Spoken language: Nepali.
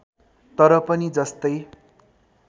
तर पनि जस्तै